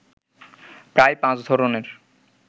প্রায় পাঁচ ধরণের